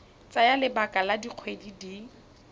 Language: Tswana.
tsaya lebaka la dikgwedi di